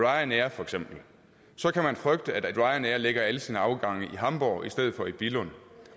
ryanair så kan man frygte at ryanair lægger alle sine afgange i hamborg i stedet for i billund